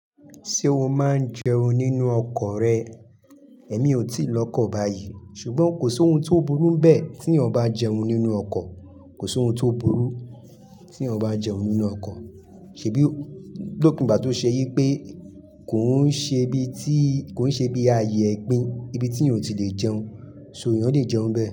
Ṣé o máa ń jẹun nínú ọkọ̀ rẹ? Èmi ò tíì lọkọ̀ báyìí ṣùgbọ́n kò sí ohun tó burú bẹ́ẹ̀ tí èèyàn bá jẹun nínú ọkọ̀, kò sí ohun tó burú tí èèyàn bá jẹun nínú ọkọ̀. Ṣèbí lópin ìgbà tó ṣe wí pé kò ń ṣe bíi ti, kò ń ṣe bíi ààyè egbin ibi tí èèyàn ò tí lè jẹun, sọ ẹ̀yàn lè jẹun nbẹ́ẹ̀.